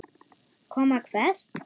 Koma hvert?